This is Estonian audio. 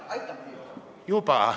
Aitab!